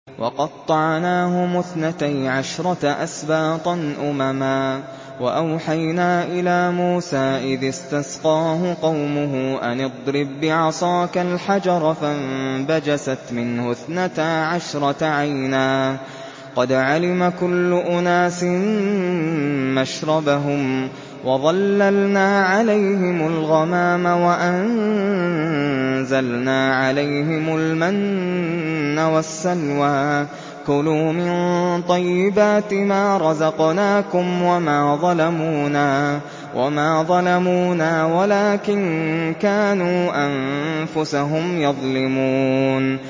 وَقَطَّعْنَاهُمُ اثْنَتَيْ عَشْرَةَ أَسْبَاطًا أُمَمًا ۚ وَأَوْحَيْنَا إِلَىٰ مُوسَىٰ إِذِ اسْتَسْقَاهُ قَوْمُهُ أَنِ اضْرِب بِّعَصَاكَ الْحَجَرَ ۖ فَانبَجَسَتْ مِنْهُ اثْنَتَا عَشْرَةَ عَيْنًا ۖ قَدْ عَلِمَ كُلُّ أُنَاسٍ مَّشْرَبَهُمْ ۚ وَظَلَّلْنَا عَلَيْهِمُ الْغَمَامَ وَأَنزَلْنَا عَلَيْهِمُ الْمَنَّ وَالسَّلْوَىٰ ۖ كُلُوا مِن طَيِّبَاتِ مَا رَزَقْنَاكُمْ ۚ وَمَا ظَلَمُونَا وَلَٰكِن كَانُوا أَنفُسَهُمْ يَظْلِمُونَ